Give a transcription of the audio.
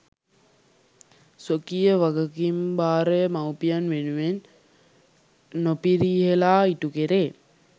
ස්වකීය වගකීම්භාරය මවුපියන් වෙනුවෙන් නොපිරිහෙළා ඉටුකෙරේ.